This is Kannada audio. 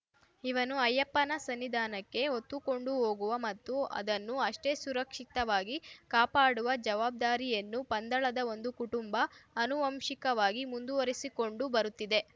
ಇವನ್ನು ಅಯ್ಯಪ್ಪನ ಸನ್ನಿಧಾನಕ್ಕೆ ಹೊತ್ತುಕೊಂಡು ಹೋಗುವ ಮತ್ತು ಅದನ್ನು ಅಷ್ಟೇ ಸುರಕ್ಷಿತವಾಗಿ ಕಾಪಾಡುವ ಜವಾಬ್ದಾರಿಯನ್ನು ಪಂದಳದ ಒಂದು ಕುಟುಂಬ ಅನುವಂಶಿಕವಾಗಿ ಮುಂದುವರೆಸಿಕೊಂಡು ಬರುತ್ತಿದೆ